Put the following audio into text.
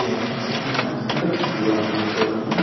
የፍልስፍእና ትምህርት ዋና ትኮለቱ እና